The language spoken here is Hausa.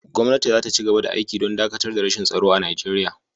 Gwamnati za ta ci gaba da aiki don dakatar da rashin tsaro a Nigeriya.